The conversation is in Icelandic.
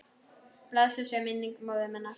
Blessuð sé minning móður minnar.